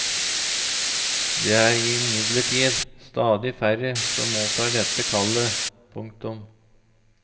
Det er imidlertid stadig færre som mottar dette kallet. punktum